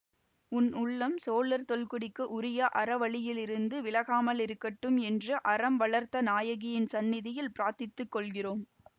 உன் உள்ளம் சோழர் தொல்குடிக்கு உரிய அற வழியிலிருந்து விலகாமலிருக்கட்டும் என்று அறம் வளர்த்த நாயகியின் சந்நிதியில் பிரார்த்தித்துக் கொள்கிறோம்